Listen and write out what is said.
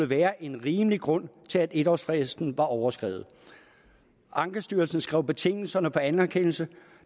være en rimelig grund til at en årsfristen var overskredet ankestyrelsen skrev betingelserne for anerkendelse